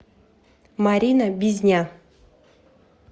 марина бизня